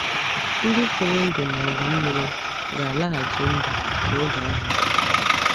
Ndị furu ndụ n’ọgụ mmiri ga-alaghachi ndụ n’oge ahụkwa.